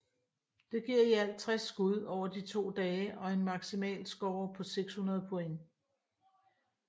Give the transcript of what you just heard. Det giver i alt 60 skud over de to dage og en maksimalscore på 600 point